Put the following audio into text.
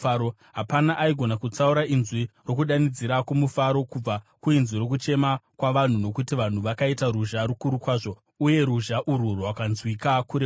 Hapana aigona kutsaura inzwi rokudanidzira kwomufaro kubva kuinzwi rokuchema kwavanhu, nokuti vanhu vakaita ruzha rukuru kwazvo. Uye ruzha urwu rwakanzwika kure kure.